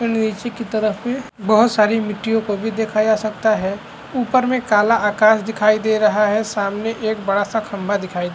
नीचे की तरफ में बहुत सारी ममिट्टीयों को भी देखा जा सकता है उपर में काला आकाश दिखाई दे रहा है सामने एक बड़ा सा खम्बा दिखाई --